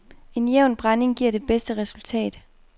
En jævn brænding giver et bedste resultat.